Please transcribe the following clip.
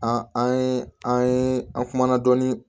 An an ye an ye an kumana dɔɔnin